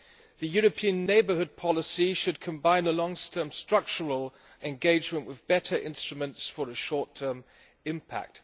The European Neighbourhood Policy should combine a long term structural engagement with better instruments for a short term impact.